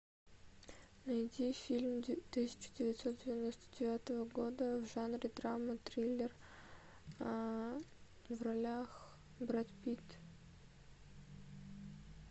найди фильм тысяча девятьсот девяносто девятого года в жанре драма триллер в ролях брэд питт